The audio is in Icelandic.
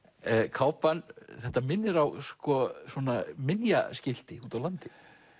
kápan þetta minnir á úti á landi